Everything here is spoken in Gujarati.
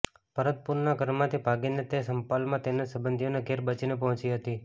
ભરતપુરના ઘરમાંથી ભાગીને તે સમ્પાલમાં તેના સંબંધીઓને ઘેર બચીને પહોંચી હતી